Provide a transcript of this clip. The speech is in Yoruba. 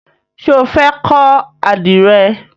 Ṣé o fẹ́ kọ́ àdìrẹ?